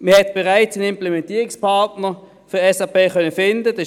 Man hat bereits einen Implementierungspartner für SAP finden können.